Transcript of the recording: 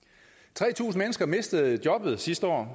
tre tusind mennesker mistede jobbet sidste år